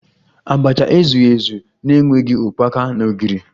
Abacha ezughi ezu na-enweghi ukpaka na ogiri